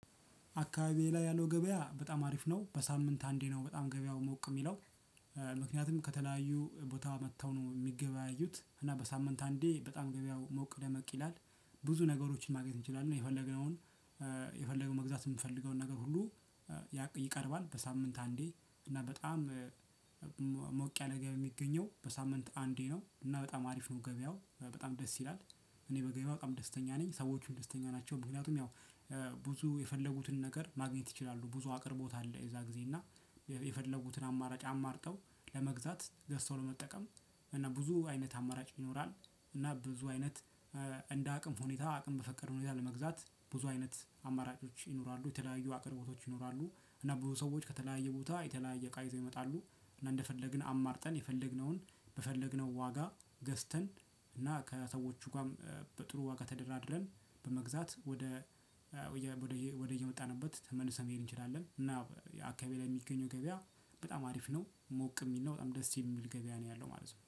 አካባቢዬ ላይ ያለው ገበያ በጣም አሪፍ ነው። በሳምንት አንዴ ነው በጣም ገበያው ሞቅ የሚለው። ምክንያቱም ከተለያዩ ቦታ መጥተው ነው የሚገበያዩት እና በሳምንት አንዴ በጣም ገበያው ሞቅ ደመቅ ይላል። ብዙ ነገሮችን ማግኘት እንችላለን የፈለግነውን የፈለገው መግዛት የምንፈልገውን ነገር ሁሉ ያ ይቀርባል በሳምንት አንዴ እና በጣም ሞቅ ያለ ገቢ የሚገኘው በሳምንት አንዴ ነው፤ እና በጣም አሪፍ ነው ገበያው በጣም ደስ ይላል። እኔ በገበያው በጣም ደስተኛ ነኝ ሰዎቹም ደስተኛ ናቸው። ምክንያቱም ያው ብዙ የፈለጉትን ነገር ማግኘት ይችላሉ ብዙ አቅርቦት አለ የዛ ጊዜ እና የፈለጉትን አማራጭ አማርጠው ለመግዛት ገዝተው ለመጠቀም እና ብዙ አይነት አማራጭ ይኖራል እና ብዙ አይነት እንደ አቅም ሁኔታ አቅም በፈቀደው ሁኔታ ለመግዛት ብዙ አይነት አማራጮች ይኖራሉ የተለያዩ አቅርቦቶች ይኖራሉ እና ብዙ ሰዎች ከተለያዩ ቦታ የተለያየ እቃ ይዘው ይመጣሉ እና እንደፈለግን አማርጠን የፈለግነውን በፈለግነው ዋጋ ገዝተን እና ከሰዎቹ ጋርም በጥሩ ዋጋ ተደራድረን በመግዛት ወደ ወደ ወደየ ወደየመጣንበት ተመልሰን መሄድ እንችላለን እና አካባቢዬ ላይ የሚገኘው ገበያ በጣም አሪፍ ነው ሞቅ የሚል ነው በጣም ደስ የሚል ገበያ ነው ያለው ማለት ነው።